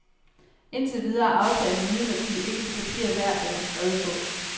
Indtil videre er aftalen imidlertid ikke det papir værd, den er skrevet på.